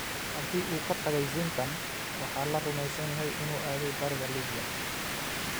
Haddii uu ka tagay Zintan, waxaa la rumeysan yahay inuu aaday bariga Liibiya.